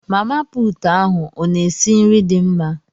Mama pụtụ ahụ ọ na esi nri dị mma?